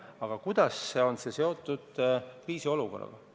Aga kuidas on see seotud kriisiolukorraga?